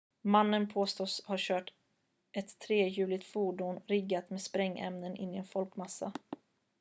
mannen påstås ha kört ett trehjuligt fordon riggat med sprängämnen in i en folkmassa